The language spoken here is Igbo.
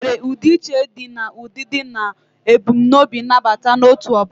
Enwere udi iche di na udidi na ebumnobi nabata n'otu obula.